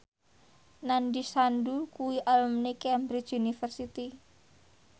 Nandish Sandhu kuwi alumni Cambridge University